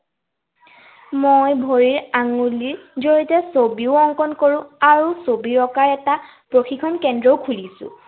মই ভৰিৰ আঙুলিৰ জড়িয়তে ছবিও অংকণ কৰো। আৰু ছবি অঁকাৰ এটা প্ৰশিক্ষণ কেন্দ্ৰও খুলিছো।